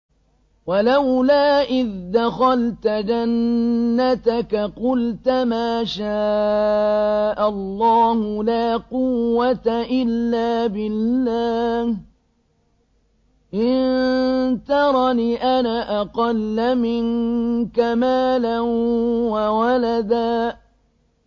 وَلَوْلَا إِذْ دَخَلْتَ جَنَّتَكَ قُلْتَ مَا شَاءَ اللَّهُ لَا قُوَّةَ إِلَّا بِاللَّهِ ۚ إِن تَرَنِ أَنَا أَقَلَّ مِنكَ مَالًا وَوَلَدًا